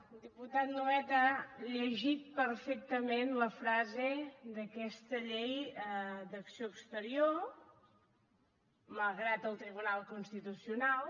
el diputat nuet ha llegit perfectament la frase d’aquesta llei d’acció exterior malgrat el tribunal constitucional